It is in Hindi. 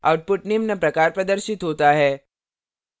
output निम्न प्रकार प्रदर्शित होता है